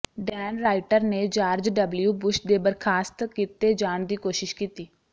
Dan Rather ਨੇ George W Bush ਦੇ ਬਰਖਾਸਤ ਕੀਤੇ ਜਾਣ ਦੀ ਕੋਸ਼ਿਸ਼ ਕੀਤੀ